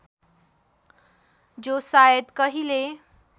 जो सायद कहिले